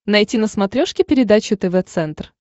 найти на смотрешке передачу тв центр